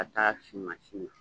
K'a taa sin mansin na.